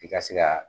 I ka se ka